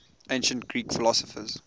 ancient greek philosophers